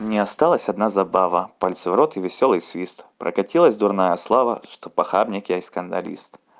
мне осталась одна забава пальцы в рот и весёлый свист прокатилась дурная слава что похабник я и скандалист